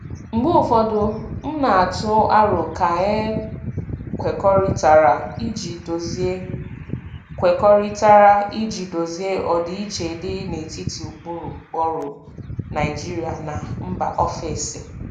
Mgbe ụfọdụ, m na-atụ aro ka e kwekọrịtara iji dozie kwekọrịtara iji dozie ọdịiche dị n'etiti ụkpụrụ ọrụ Naijiria na mba ofesi.